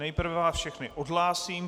Nejprve vás všechny odhlásím.